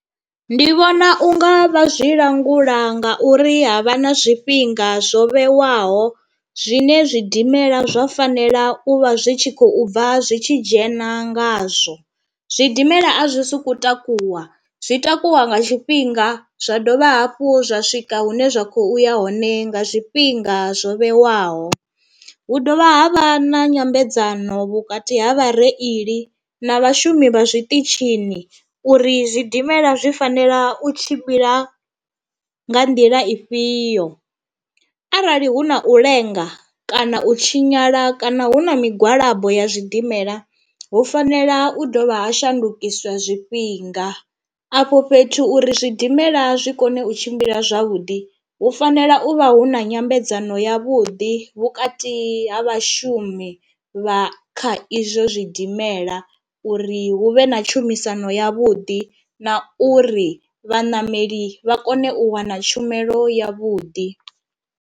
Ndi vhona u nga vha zwi langula nga uri ha vha na zwifhinga zwo vheiwaho zwine zwi dimela zwa fanela u vha zwi tshi khou bva zwi tshi dzhena nga zwo, zwidimela a zwi sokou takuwa, zwi takuwa nga tshifhinga zwa dovha hafhu zwa swika hune zwa khou ya hone nga zwifhinga zwo vheiwaho, hu dovha havha na nyambedzano vhukati ha vha reili na vhashumi vha zwiṱitshini uri zwidimela zwi fanela u tshimbila nga nḓila ifhio, arali hu na u lenga kana u tshinyala kana hu na migwalabo ya zwidimela hu fanela u dovha ha shandukiswa zwifhinga, afho fhethu uri zwidimela zwi kone u tshimbila zwavhuḓi hu fanela u vha hu na nyambedzano ya vhuḓi vhukati ha vha shumi vha kha izwo zwidimela uri hu vhe na tshumisano ya vhuḓi na uri vhanameli vha kone u wana tshumelo ya vhuḓi.